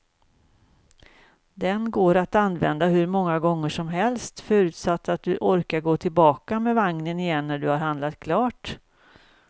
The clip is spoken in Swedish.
Den går att använda hur många gånger som helst, förutsatt att du orkar gå tillbaka med vagnen igen när du har handlat klart.